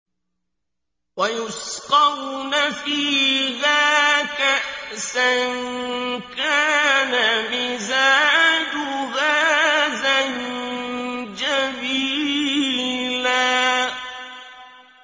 وَيُسْقَوْنَ فِيهَا كَأْسًا كَانَ مِزَاجُهَا زَنجَبِيلًا